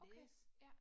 Okay, ja